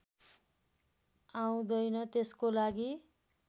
आउँदैन त्यसको लागि